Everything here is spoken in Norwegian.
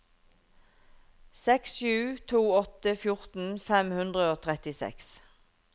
seks sju to åtte fjorten fem hundre og trettiseks